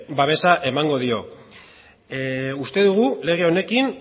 babesa emango dio uste dugu lege honekin